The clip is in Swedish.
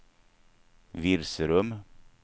Virserum